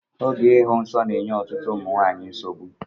Oge ịhụ nsọ na-enye ọtụtụ ụmụ nwanyị nsogbu.